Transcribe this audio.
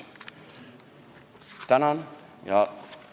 Tänan!